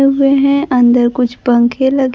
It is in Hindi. हुए हैं अंदर कुछ पंख लगे--